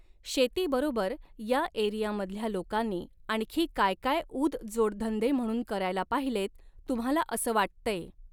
शेतीबरोबर या एरियामधल्या लोकांनी आणखी काय काय ऊद जोडधंदे म्हणून करायला पाहिलेत तुम्हाला असं वाटतंय